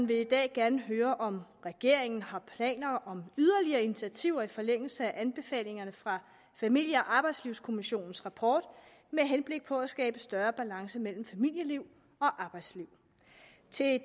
vil i dag gerne høre om regeringen har planer om yderligere initiativer i forlængelse af anbefalingerne fra familie og arbejdslivskommissionens rapport med henblik på at skabe større balance mellem familieliv og arbejdsliv